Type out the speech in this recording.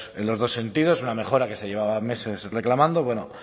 en los dos sentidos una mejora que se llevaba meses reclamando bueno